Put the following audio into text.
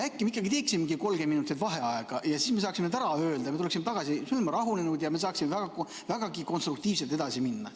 Äkki me teeksime 30 minutit vaheaega, siis me saaksime kõik ära öelda, seejärel tuleksime tagasi, oleksime rahunenud ja saaksime vägagi konstruktiivselt edasi minna.